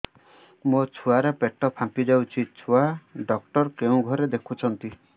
ମୋ ଛୁଆ ର ପେଟ ଫାମ୍ପି ଯାଉଛି ଛୁଆ ଡକ୍ଟର କେଉଁ ଘରେ ଦେଖୁ ଛନ୍ତି